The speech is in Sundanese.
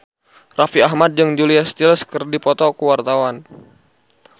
Raffi Ahmad jeung Julia Stiles keur dipoto ku wartawan